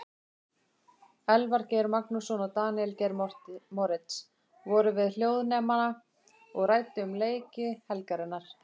Elvar Geir Magnússon og Daníel Geir Moritz voru við hljóðnemana og ræddu um leiki helgarinnar.